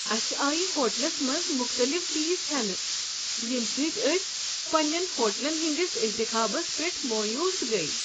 اسہ آیہ ہوٹلس منٛز مختلف فیس ہٮ۪نہٕ، ییٚمہ سۭتۍ أسۍ پننین ہوٹلن ہنٛدس انتخابس پٮ۪ٹھ مایوس گٔیہ۔